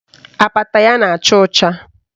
Apata ya na-acha ọcha